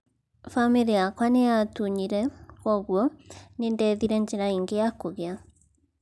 Bamĩri yakwa nĩatunyire, kwogũo nĩndethira njĩra ĩngĩ ya kũgĩa